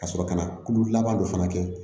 Ka sɔrɔ ka na kulu laban dɔ fana kɛ